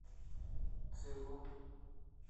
цейлон